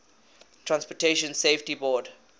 transportation safety board